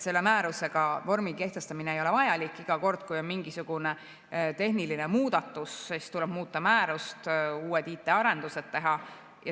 Selle määrusega vormi kehtestamine ei ole vajalik ja iga kord, kui on mingisugune tehniline muudatus, tuleb muuta määrust, uued IT‑arendused teha.